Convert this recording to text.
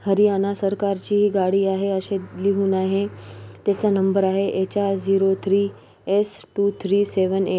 हरियाणा सरकारची ही गाडी आहे असे लिहून आहे त्याचा नंबर आहे H R zero three S two three seven eight .